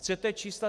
Chcete čísla?